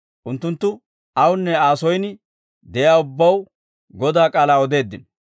Unttunttu awunne Aa soyin de'iyaa ubbaw Godaa k'aalaa odeeddino.